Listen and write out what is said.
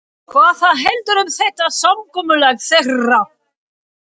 Hvað þá heldur um þetta samkomulag þeirra.